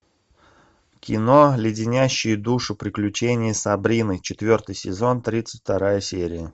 кино леденящие душу приключения сабрины четвертый сезон тридцать вторая серия